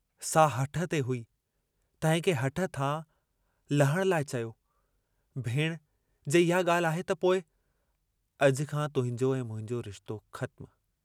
सा हठ ते हुई, तहिंखे हठ तां लहण लाइ चयो, भेणु जे इहा ॻाल्हि आहे त पोइ अॼु खां तुंहिंजो ऐं मुंहिंजो रिश्तो ख़त्मु।